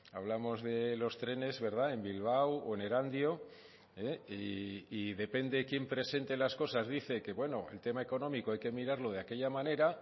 hablamos de los trenes en bilbao o en erandio y depende quién presente las cosas dice que bueno el tema económico hay que mirarlo de aquella manera